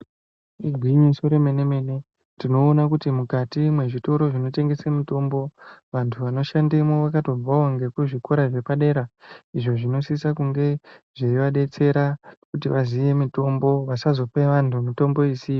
Igwinyiso remene-mene tinoona kuti mukati mwezvitoro zvinotengese mitombo vantu vanoshandemwo vakatobvawo ngekuzvikora zvepadera izvo zvinosise kunge zveivadetsera kuti vaziye mitombo vasazope vantu mitombo isiyo.